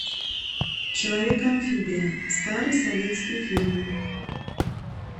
человек амфибия старый советский фильм